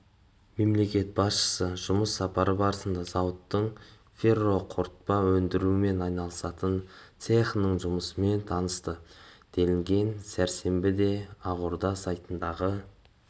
мемлекет басшысы жұмыс сапары барысында зауыттың ферроқорытпа өндірумен айналысатын цехының жұмысымен танысты делінген сәрсенбіде ақорда сайтындағы